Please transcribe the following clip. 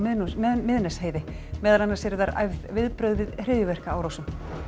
Miðnesheiði meðal annars eru þar æfð viðbrögð við hryðjuverkaárásum